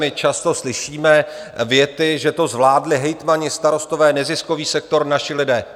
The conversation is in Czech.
My často slyšíme věty, že to zvládli hejtmani, starostové, neziskový sektor, naši lidé.